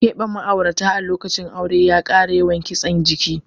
Keɓe ma'aurata a lokacin aure ya kara yawan kitsen jiki.